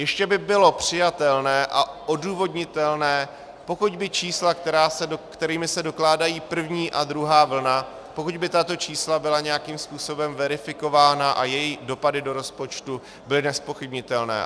Ještě by bylo přijatelné a odůvodnitelné, pokud by čísla, kterými se dokládají první a druhá vlna, pokud by tato čísla byla nějakým způsobem verifikována a jejich dopady do rozpočtu byly nezpochybnitelné.